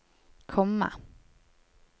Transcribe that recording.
komma